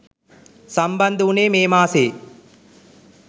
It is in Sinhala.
සම්බන්ධ උනේ මේ මාසයේ